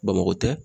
Bamakɔ tɛ